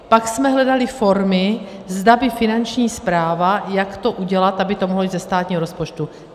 Pak jsme hledali formy, zda by Finanční správa, jak to udělat, aby to mohlo jít ze státního rozpočtu.